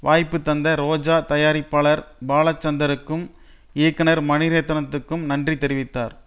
வாய்ப்பு தந்த ரோஜா தயாரிப்பாளர் பாலசந்தருக்கும் இயக்குனர் மணிரத்னத்துக்கும் நன்றி தெரிவித்தார்